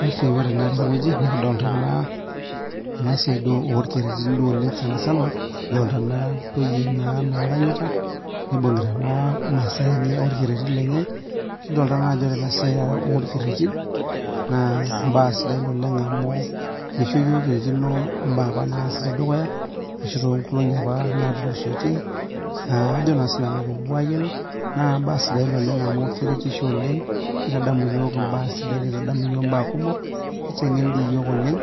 Basi ore naa tene wueji nekidolta naa ena siai duo orkererin duo oleng' sanisana, kidotaa naa intoyie naa naaranyita nibung'ita naa masaa enye orkereri lenye, kidoltata naa ajo ore ena siai orkerereri naa mbaa sidain oleng' amu misho iyiok kirikino mbaa apaa naasi te dukuya ashu too nkolong'i apa naatulusoitie aa ajo naa sinanu piikipuo aayiolou. Naa mbaa sidain oleng' amu keretisho oleng' nitadamu iyiok mbaa sidain, nitadamu iyiok imbaa kumok, niteng'en iyiok oleng'